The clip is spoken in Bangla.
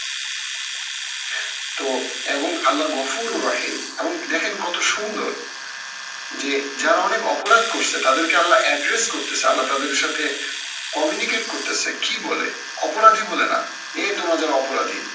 তো এবং আমার গফুর ও রহিম এবং দেখেন কত সুন্দর, যে যারা অনেক অপরাধ করছে তাদেরকে আল্লা address করতেসে আল্লা তাদের সাথে communicate করতেসে কি বলে অপরাধী বলে না, কে তোমাদের অপরাধী।